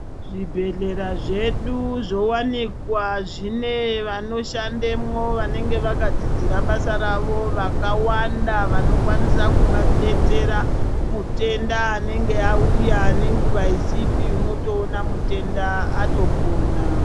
Zvi bhedhlera zvedu zvo wanikwa zvine vano shandemwo vanege vaka dzidzire basa ravo vakawanda vanokwanisa kudetsera mutenda anenge auya ne nguva isipi unotoona mutenda ato pona.